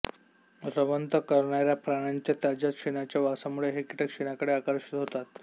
रवंथ करणाऱ्या प्राण्यांच्या ताज्या शेणाच्या वासामुळे हे कीटक शेणाकडे आकर्षित होतात